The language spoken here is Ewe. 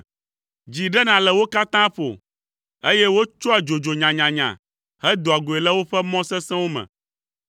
Dzi ɖena le wo katã ƒo, eye wotsɔa dzodzo nyanyanya hedoa goe le woƒe mɔ sesẽwo me.